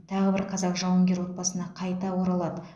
тағы бір қазақ жауынгер отбасына қайта оралады